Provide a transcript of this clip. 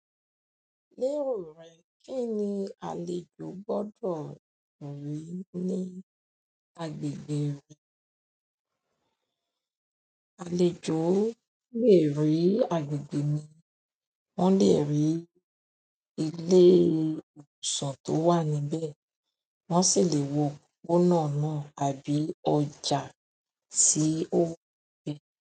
Ní ìròyìn re, kín ni àlejò gbọ́dọ̀ rí ní agbègbè re? Àlejò lè rí agbègbè mi wọ́n lè rí ilé ìwòsàn tó wà níbẹ̀. Wọ́n sì lè wo òpópónà náà àbí ọjà tí ó pé.